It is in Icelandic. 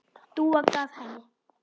Dúa gaf henni.